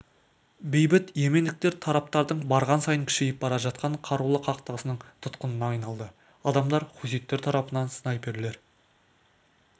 бейбіт йемендіктер тараптардың барған сайын күшейіп бара жатқан қарулы қақтығысының тұтқынына айналды адамдар хуситтер тарапынан снайперлер